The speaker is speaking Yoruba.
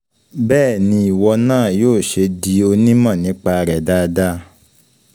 Bẹ́ẹ̀ ni ìwọ náà yóò ṣe di onímọ̀ nípa rẹ̀ dáadáa.